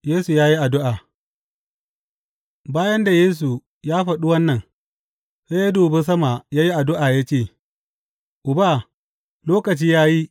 Yesu ya yi addu’a Bayan da Yesu ya faɗi wannan, sai ya dubi sama ya yi addu’a ya ce, Uba, lokaci ya yi.